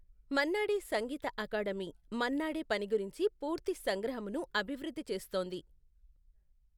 మన్నాడే సంగీత అకాడమీ మన్నాడే పని గురించి పూర్తి సంగ్రహమును అభివృద్ధి చేస్తోంది.